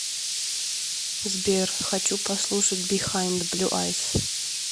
сбер хочу послушать бихайнд блю айс